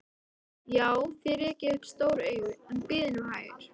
Já, þér rekið upp stór augu, en bíðið nú hægur.